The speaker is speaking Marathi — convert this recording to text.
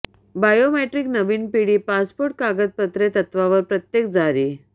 बायोमेट्रिक नवीन पिढी पासपोर्ट कागदपत्रे तत्त्वावर प्रत्येक जारी